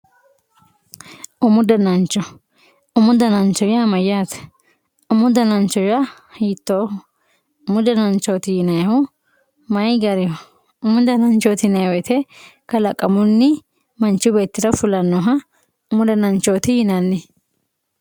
umu danancho. umu danancho yaa mayyaate umu danancho yaa hiittooho umu dananchooti yinannihu mayii gariho umu dananchooti yinayii woyiite kalaqamunni manchu beettira fulannoha umu dananchooti yinanni.